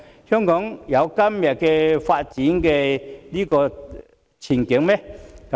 香港能有今天的發展嗎？